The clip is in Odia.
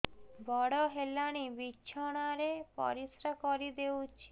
ବଡ଼ ହେଲାଣି ବିଛଣା ରେ ପରିସ୍ରା କରିଦେଉଛି